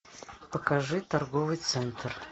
покажи торговый центр